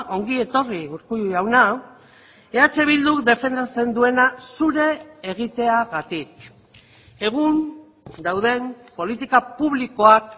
ongi etorri urkullu jauna eh bilduk defendatzen duena zure egiteagatik egun dauden politika publikoak